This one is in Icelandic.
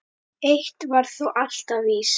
Eitt var þó alltaf víst.